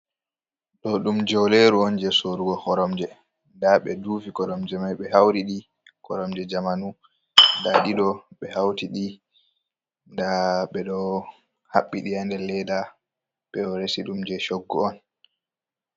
Ɗo ɗum jeuleru on je sorrugo koromje, nda ɓe duufi koromje mai ɓe hauri ɗi, koromje jamanu nda ɗi ɗo ɓe hauti ɗi, nda ɓe ɗo haɓɓi ɗi ha nder leda, ɓe ɗo resiɗum je choggu on.